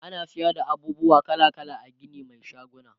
ana sayar da abubuwa kala kala a Gini Mai shaguna